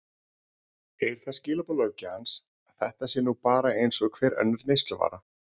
Eru það skilaboð löggjafans að þetta sé nú bara eins og hver önnur neysluvara?